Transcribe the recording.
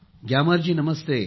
ग्यामर ji नमस्ते